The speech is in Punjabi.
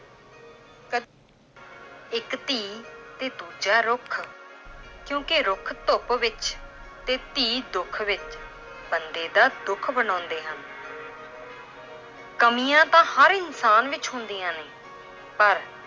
ਇੱਕ ਧੀ ਤੇ ਦੂਜਾ ਰੁੱਖ ਕਿਉਂਕਿ ਰੁੱਖ ਧੁੱਪ ਵਿੱਚ ਤੇ ਧੀ ਦੁੱਖ ਵਿੱਚ ਬੰਦੇ ਦਾ ਦੁੱਖ ਵਡਾਉਂਦੇ ਹਨ l ਕਮੀਆਂ ਤਾਂ ਹਰ ਇਨਸਾਨ ਵਿੱਚ ਹੁੰਦੀਆਂ ਨੇ ਪਰ